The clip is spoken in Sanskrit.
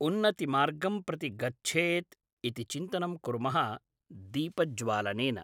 उन्नतिमार्गं प्रति गच्छेत् इति चिन्तनं कुर्मः दीपज्वालनेन